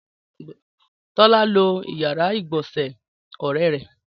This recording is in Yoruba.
Tọ́lá lo ìyàrá-ìgbọ̀nsẹ̀ ọ̀rẹ́ rẹ!